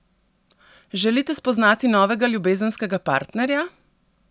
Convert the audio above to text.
Želite spoznati novega ljubezenskega partnerja?